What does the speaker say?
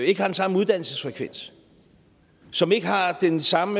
ikke har den samme uddannelsesfrekvens som ikke har den samme